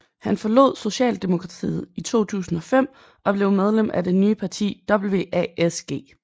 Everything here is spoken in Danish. Han forlod socialdemokratiet i 2005 og blev medlem af det nye parti WASG